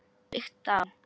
Byggt á